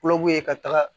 Kulɔku ye ka taga